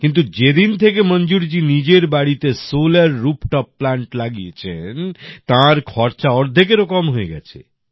কিন্তু যেদিন থেকে মঞ্জুর জি নিজের বাড়িতে সোলার রুফটপ প্লান্ট লাগিয়েছেন তাঁর খরচা অর্ধেকেরও কম হয়ে গেছে